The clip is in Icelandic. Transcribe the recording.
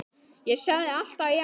Ég sagði alltaf já.